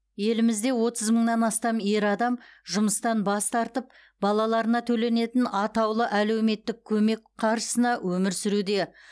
елімізде отыз мыңнан астам ер адам жұмыстан бас тартып балаларына төленетін атаулы әлеуметтік көмек қаржысына өмір сүруде